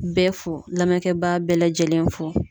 Bɛɛ fo lamɛnkɛbaga bɛɛ lajɛlen fo